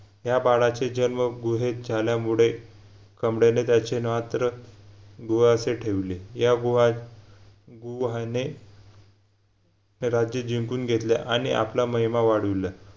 या बाडाचे जन्म गुहेत झाल्यामुडे त्याचे नात्र गुहा अशे ठेवले या गुहात गुहाने राज्य जिंकून घेतले आणि आपला महिमा वाढविला